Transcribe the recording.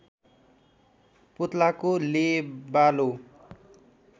पोत्लाको लेबालो